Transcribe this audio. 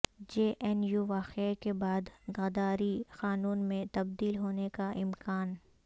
جے N U واقعہ کے بعد غداری قانون میں تبدیل ہونے کا امکان